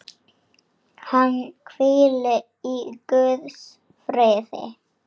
Hann hvíli í Guðs friði.